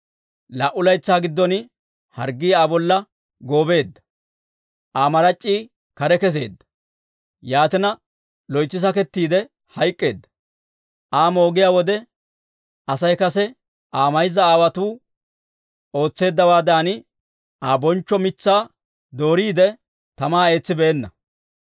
Laa"u laytsaa giddon harggii Aa bolla goobeedda; Aa marac'c'ii kare kesseedda; yaatina, loytsi sakettiide hayk'k'eedda. Aa moogiyaa wode Asay kase Aa mayza aawaatoo ootseeddawaadan, Aa bonchchoo mitsaa dooriide, tamaa eetsibeenna.